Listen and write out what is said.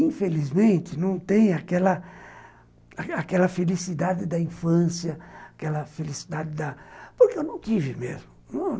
Infelizmente, não tem aquela aquela felicidade da infância, aquela felicidade da... porque eu não tive mesmo.